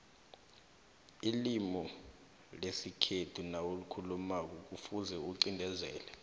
ilimu lesikhethu nawulikhulumako kufuze iqindezele